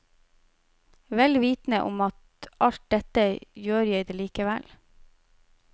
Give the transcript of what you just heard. Vel vitende om at alt dette, gjør jeg det allikevel.